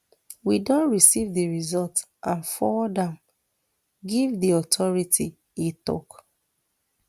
we don receive di results and forward am give di authority e tok